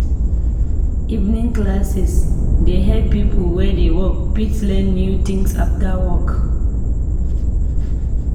Evening classes dey help people wey dey work fit learn new things after work.